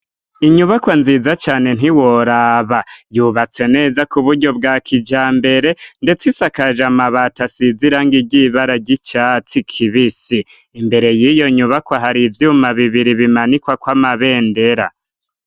Inyubakwa nziza cane ntiworaba, yubatse neza kuburyo bwa kijambere ndetse isakaje amabati asize irangi ry'ibara ry'icatsi kibisi, imbere y'iyo nyubako hari ivyuma bibiri bimanikwako amabendera.